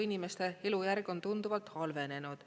Inimeste elujärg on tunduvalt halvenenud.